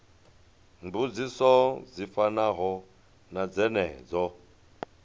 mbudziso dzi fanaho na dzenedzo